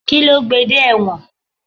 Kíló gbé dé ẹ dé ẹ̀wọ̀n?